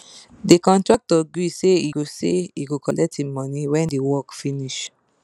the contractor gree say he go say he go collect him money when the work finish